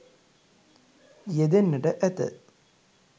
යෙදෙන්නට ඇත.